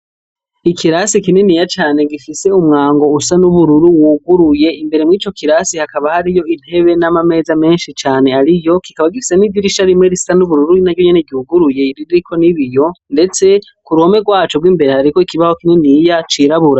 Ikirase kininiya cane gifise umwango usa n'ubururu waguruye, imbere mw'ico kirasi hakaba hariyo intebe n'amameza menshi cane ariyo kikaba gifise n'idirisha rimwe risa n'ubururu naryo nyene ryuguruye ririko n'ibiyo ndetse k'uruhome rwaco gw'imbere hariko ikibaho kininiya cirabura